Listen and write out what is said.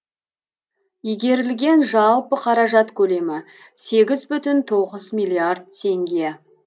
игерілген жалпы қаражат көлемі сегіз бүтін тоғыз миллиард теңге